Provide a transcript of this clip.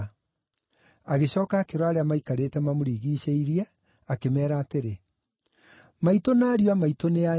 Agĩcooka akĩrora arĩa maikarĩte mamũrigiicĩirie, akĩmeera atĩrĩ, “Maitũ na ariũ a maitũ nĩ aya!